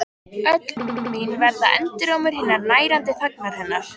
Öll orð mín verða endurómur hinnar nærandi þagnar hennar.